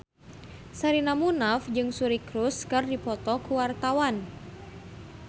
Sherina Munaf jeung Suri Cruise keur dipoto ku wartawan